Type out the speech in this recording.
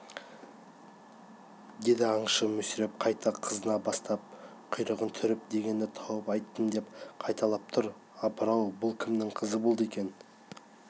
деді аңшы мүсіреп қайта қызына бастап құйрығын түріп дегенді тауып айттым деп қайталап тұр апыр-ау бұл кімнің қызы болды екен